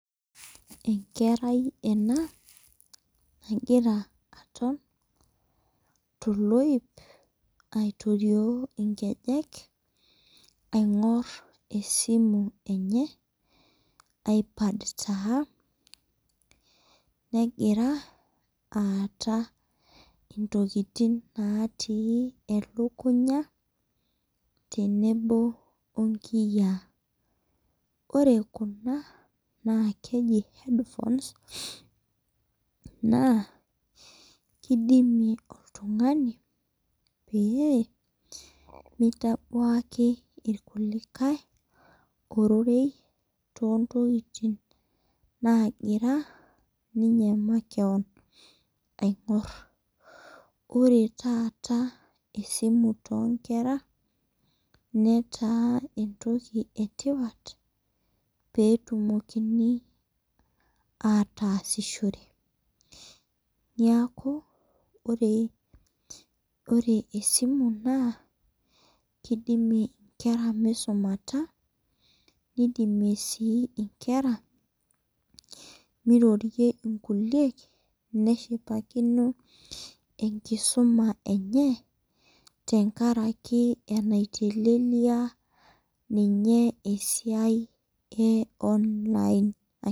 Enkerai ena .nagira aton toloip aitorio nkejek aing'or esimu enye. iPad taa. negira aata intokitin natii elukunya tenebo onkiyiaa. ore Kuna naa keji headphones Nas kidimie oltungani, pee meitabuaki ilkulikae ororei. too ntokitin naagira ninye makewon aing'or. ore taata esimu. too nkera netaa entoki etipat pee etumokini aatasishore. neeku or e simu kidimie nkere misumata. nidimie si nkera mirorie nkuliek. neshipakino enkisuma enye. tenkaraki enaiteleliaa ninye esiai e online